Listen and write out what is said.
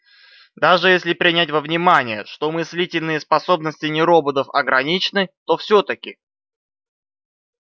даже если принять во внимание что мыслительные способности нероботов ограничены то всё-таки